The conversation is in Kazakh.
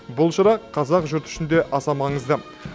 бұл шара қазақ жұрты үшін де аса маңызды